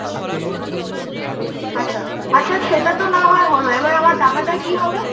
আচ্ছা, আচ্ছা সেটা তো না হয় হল, এবার আমার টাকাটা কি হবে?